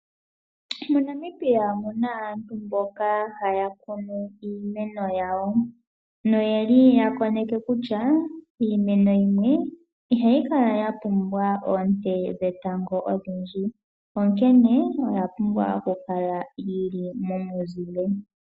MoNamibia omuna aantu mboka haya kunu iimeno yawo, noyeli yakoneke kutya, iimeno yimwe ihayi kala yapumbwa oonte dhetango odhindji, onkene oya pumbwa okukala yili momuzile.